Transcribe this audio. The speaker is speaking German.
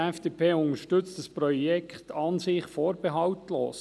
: Die FDP unterstützt das Projekt an und für sich vorbehaltlos.